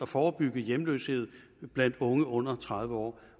forebygge hjemløshed blandt unge under tredive år